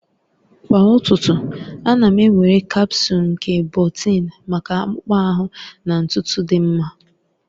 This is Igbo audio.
Kwa ụtụtụ, ana m ewere kapsul nke biotin maka akpụkpọ ahụ na ntutu dị mma.